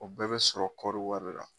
O bɛɛ bɛ sɔrɔ kɔri wari la.